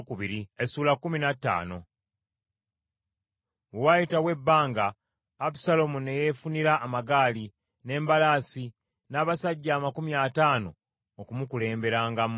Bwe waayitawo ebbanga, Abusaalomu ne yeefunira amagaali, n’embalaasi, n’abasajja amakumi ataano okumukulemberangamu.